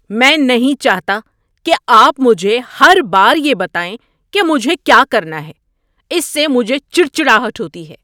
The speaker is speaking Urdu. میں نہیں چاہتا کہ آپ مجھے ہر بار یہ بتائیں کہ مجھے کیا کرنا ہے۔ اس سے مجھے چڑچڑاہٹ ہوتی ہے۔